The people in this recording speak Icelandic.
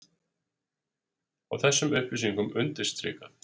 Og þessum upplýsingum undirstrikað